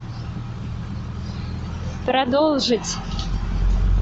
продолжить